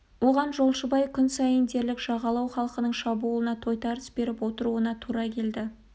оған жолшыбай күн сайын дерлік жағалау халқының шабуылына тойтарыс беріп отыруына тура келді